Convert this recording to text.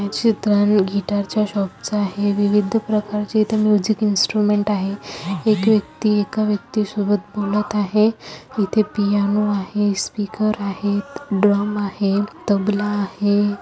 ही चित्र गिटार च्या शॉप च आहे विविध प्रकारचे इथ म्यूजिक इंस्ट्रूमेंट आहे एक व्यक्ति एका व्यक्ति सोबत बोलत आहे इथे पियानो आहे स्पीकर आहे ड्रम आहे तबला आहे.